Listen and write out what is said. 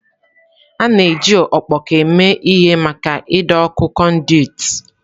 A na-eji ọkpọkọ eme ihe maka ido ọ́kụ̀ konduiti.